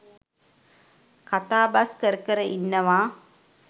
කතාබස් කර කර ඉන්නවා.